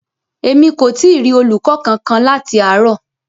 Emi ko ti rí olùkọ kánkan láti àárò.